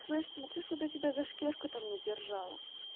слышь смотри что бы я тебя за шкирку там не держала